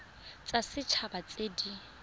tsa set haba tse di